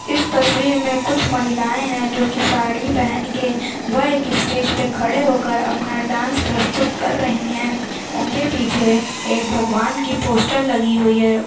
इस तस्वीर में कुछ महिलाए हैं जो कि साड़ी पेहेन के वह इस स्टेज पे खड़े होकर अपना डांस प्रस्तुत कर रही हैं। उनके पीछे एक भगवान की पोस्टर लगी हुई है।